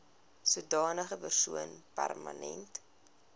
sodanige persoon permanent